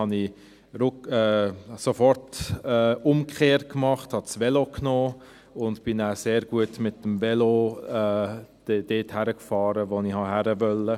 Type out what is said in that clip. Dann kehrte ich sofort um, nahm das Velo und fuhr mit dem Velo sehr gut dorthin, wo ich hin wollte.